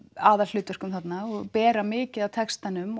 aðalhlutverkum þarna og bera mikið af textanum